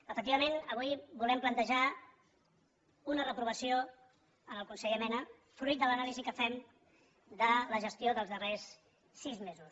efectivament avui volem plantejar una reprovació al conseller mena fruit de l’anàlisi que fem de la gestió dels darrers sis mesos